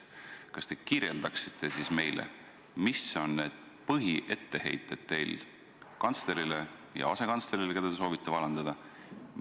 Kas te kirjeldaksite siis meile, mis on teie põhietteheited kantslerile ja asekantslerile, keda te soovite vallandada?